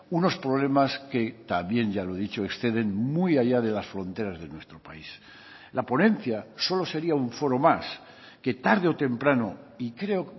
unos problemas que también ya lo he dicho exceden muy allá de las fronteras de nuestro país la ponencia solo sería un foro más que tarde o temprano y creo